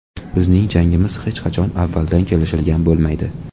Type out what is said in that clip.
Bizning jangimiz hech qachon avvaldan kelishilgan bo‘lmaydi.